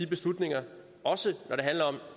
beslutninger også når det handler om